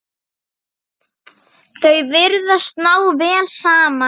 Þau virðast ná vel saman.